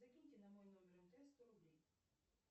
закиньте на мой номер мтс сто рублей